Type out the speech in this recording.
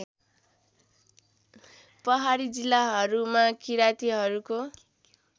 पहाडी जिल्लाहरूमा किरातीहरूको